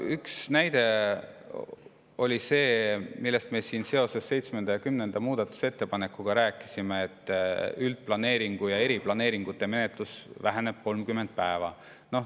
No üks näide on see, millest me siin seoses 7. ja 10. muudatusettepanekuga rääkisime, et üldplaneeringute ja eriplaneeringute menetluse aeg väheneb 30 päeva.